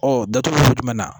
Ɔ datuguli sugu jumɛn na